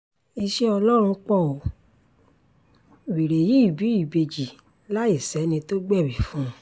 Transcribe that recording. iṣẹ́ ọlọ́run pọ̀ ó wẹ́rẹ́ yìí bí ìbejì láì sẹ́ni tó gbẹ̀bí fún un